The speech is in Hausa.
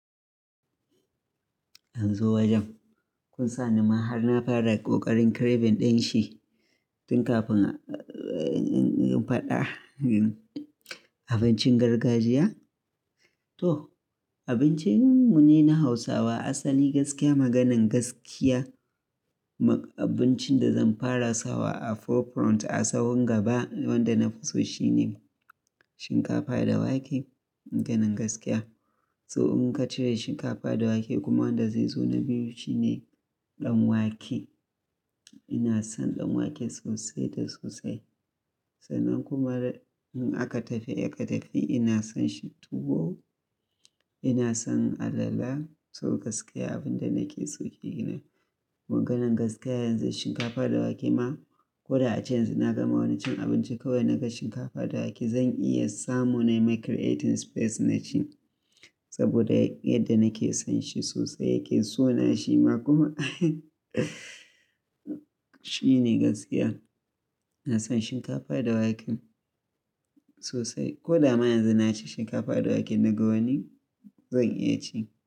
An zo wajen. Kun sani ma har na fara ƙoƙarin craving ɗin shi tun kafin in faɗa abincin gargajiya. To, abincin mu ne na Hausawa asali gaskiya maganan gaskiya. Abincin da zan fara sawa a forefront a sawun gaba wanda nafi so shine shinkafa da wake. Maganan gaskiya. So in ka cire shinkafa da wake kuma wanda zai zo na biyu shine ɗan wake. Ina son ɗan wake sosai da sosai. Sannan kuma in aka tafi, aka tafi ina son tuwo, ina son alala. To gaskiya abin da nake so kenan. Maganan gaskiya yanzu shinkafa da wake ma ko da a ji yanzu na gama wani cin abinci kawai naga shinkafa da wake zan iya samu na yi ma creating space na ci saboda yadda nake son shi sosai yake so na shi ma kuma shine gaskiya. Na son shinkafa da wake sosai. Ko da a ma yanzu na ci shinkafa da wake na ga wani zan iya ci.